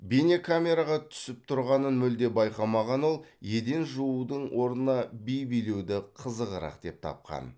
бейнекамераға түсіп тұрғанын мүлде байқамаған ол еден жуудың орнына би билеуді қызығырақ деп тапқан